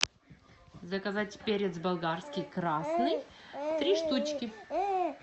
заказать перец болгарский красный три штучки